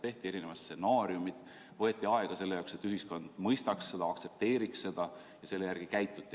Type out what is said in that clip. Tehti erinevad stsenaariumid, võeti aega selle jaoks, et ühiskond mõistaks seda, aktsepteeriks seda ja selle järgi käituti.